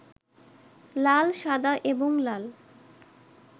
লাল, সাদা এবং লাল